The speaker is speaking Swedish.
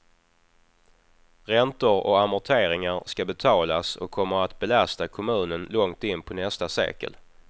Räntor och amorteringar ska betalas och kommer att belasta kommunen långt in på nästa sekel.